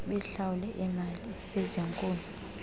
bahlawule iimali ezinkulu